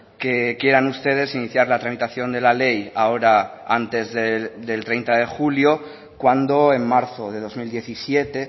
que quieran ustedes iniciar la tramitación de la ley ahora antes del treinta de julio cuando en marzo de dos mil diecisiete